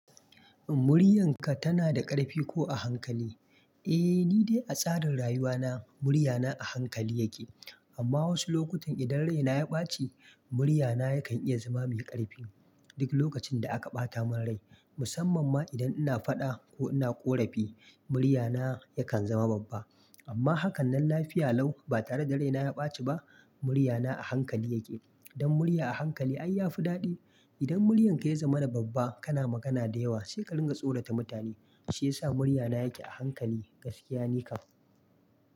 "Muryanka tana da ƙarfi ko a hankali?" Eh, ni dai a tsarin rayuwana murya na a hankali yake. Amma wasu lokutan idan rai na ya ɓace, murya na yakan iya zama mai ƙarfi. Duk lokacin da aka ɓata mun rai, musamman ma idan ina faɗa ko ina ƙorafi, murya na yakan zama babba. Amma haka nan lafiya lau ba tare da rai na ya ɓaci ba, murya na a hankali yake. Dan murya a hankali ai yafi daɗi. Idan muryan ka ya zama na babba, kana magana da yawa sai ka dinga tsorata mutane. Shi yasa murya na yake a hankali gaskiya nikan.